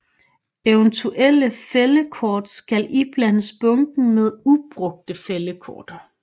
Eventuelle fældekort skal iblandes bunken med ubrugte fældekort